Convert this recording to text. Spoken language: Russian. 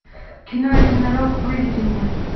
кино единорог выведи мне